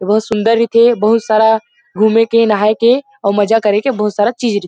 बहुत सुन्दर रईथे बहुत सारा घूमे के नहाये के औउ मजा के बहुत सारा चीज़ रईथे।